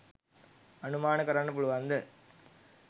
අනුමාන කරන්න පුලුවන්ද?